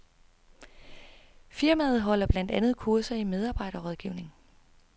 Firmaet holder blandt andet kurser i medarbejderrådgivning.